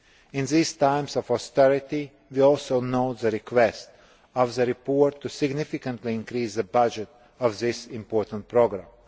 In these times of austerity, we also note the request in the report to significantly increase the budget of this important programme.